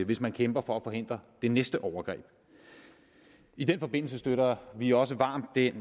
hvis man kæmper for at forhindre det næste overgreb i den forbindelse støtter vi også varmt den